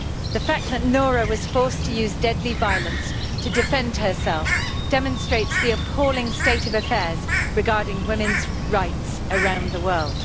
The fact that Noura was forced to use deadly violence to defend herself demonstrates the appalling state of affairs regarding women's rights around the world.